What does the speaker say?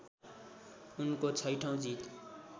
उनको छैठौँ जित